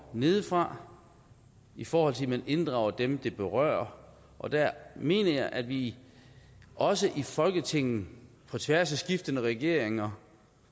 nedefra i forhold til at man inddrager dem det berører og der mener jeg at vi også i folketinget på tværs af skiftende regeringer